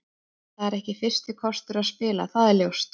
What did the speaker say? Það er ekki fyrsti kostur að spila, það er ljóst.